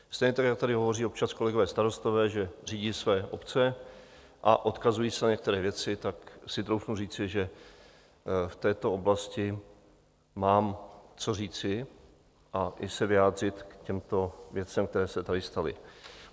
Stejně tak jako tady hovoří občas kolegové starostové, že řídí své obce a odkazují se na některé věci, tak si troufnu říci, že v této oblasti mám co říci a i se vyjádřit k těmto věcem, které se tady staly.